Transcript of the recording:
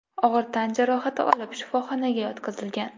og‘ir tan jarohati olib shifoxonaga yotqizilgan.